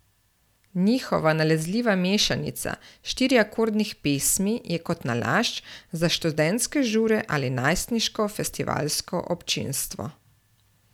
Njihova nalezljiva mešanica štiriakordnih pesmi je kot nalašč za študentske žure ali najstniško festivalsko občinstvo.